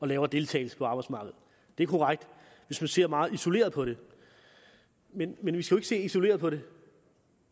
lavere deltagelse på arbejdsmarkedet det er korrekt hvis man ser meget isoleret på det men men vi skal ikke se isoleret på det